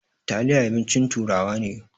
Taliya abincin turawa ne.